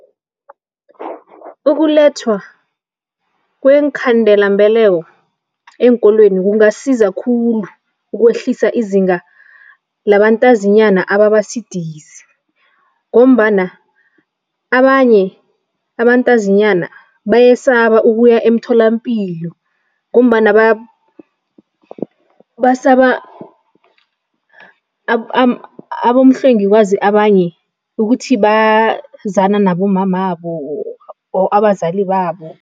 Ukulethwa kweenkhandelambeleko eenkolweni kungasiza khulu ukwehlisa izinga labantazinyana ababa sidisi ngombana abanye abantazinyana bayesaba ukuya emtholampilo ngombana basaba abomhlwengikazi abanye ukuthi bazana nabomamabo or abazali babo.